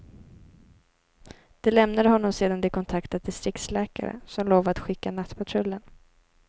De lämnade honom sedan de kontaktat distriktsläkare, som lovat skicka nattpatrullen.